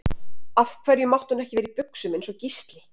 Af hverju mátti hún ekki vera í buxum eins og Gísli?